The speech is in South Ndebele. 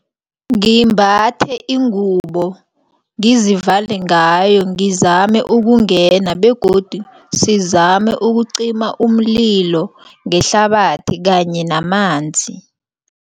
Ngimbathe ingubo ngizivale ngayo ngizame ukungena begodu sizame ukucima umlilo ngehlabathi kanye namanzi.